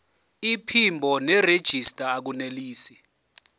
iphimbo nerejista akunelisi